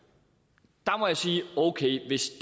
at må jeg sige okay hvis